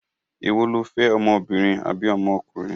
Èwo lo fẹ́, ọmọbìnrin àbí ọmọkùnrin?